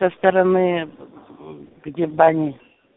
со стороны где бан